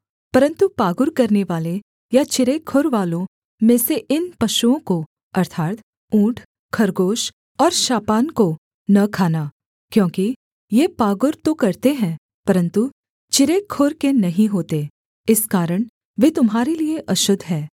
परन्तु पागुर करनेवाले या चिरे खुरवालों में से इन पशुओं को अर्थात् ऊँट खरगोश और शापान को न खाना क्योंकि ये पागुर तो करते हैं परन्तु चिरे खुर के नहीं होते इस कारण वे तुम्हारे लिये अशुद्ध हैं